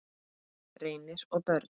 Reynir og börn.